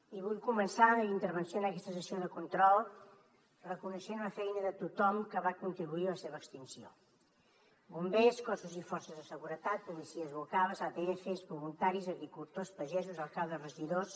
i vull començar la meva intervenció en aquesta sessió de control reconeixent la feina de tothom que va contribuir a la seva extinció bombers cossos i forces de seguretat policies locals adf voluntaris agricultors pagesos alcaldes regidors